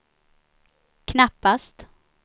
knappast